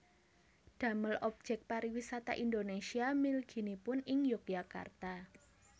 Damel objek pariwisata Indonesia mliginipun ing Yogyakarta